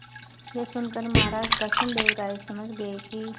यह सुनकर महाराज कृष्णदेव राय समझ गए कि